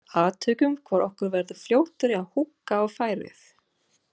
Athugum hvor okkar verður fljótari að húkka á færið.